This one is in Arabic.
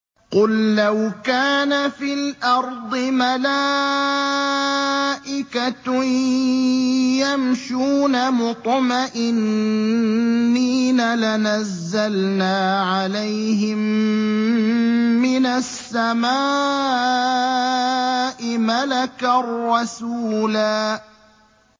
قُل لَّوْ كَانَ فِي الْأَرْضِ مَلَائِكَةٌ يَمْشُونَ مُطْمَئِنِّينَ لَنَزَّلْنَا عَلَيْهِم مِّنَ السَّمَاءِ مَلَكًا رَّسُولًا